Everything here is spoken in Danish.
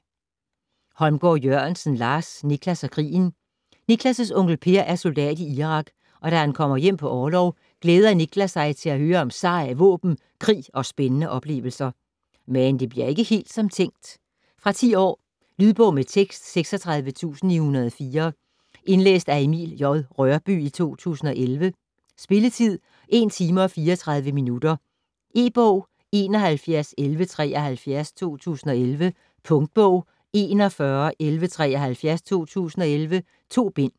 Holmgård Jørgensen, Lars: Nicklas og krigen Nicklas' onkel Per er soldat i Irak, og da han kommer hjem på orlov, glæder Nicklas sig til at høre om seje våben, krig og spændende oplevelser. Men det bliver ikke helt som tænkt. Fra 10 år. Lydbog med tekst 36904 Indlæst af Emil J. Rørbye, 2011. Spilletid: 1 timer, 34 minutter. E-bog 711173 2011. Punktbog 411173 2011. 2 bind.